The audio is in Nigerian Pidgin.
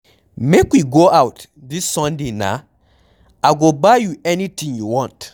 Make we go out dis sunday na, I go buy you anything you want.